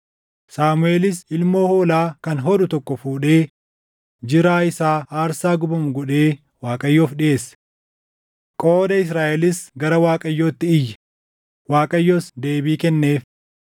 Saamuʼeelis ilmoo hoolaa kan hodhu tokko fuudhee jiraa isaa aarsaa gubamu godhee Waaqayyoof dhiʼeesse. Qooda Israaʼelis gara Waaqayyootti iyye; Waaqayyos deebii kenneef.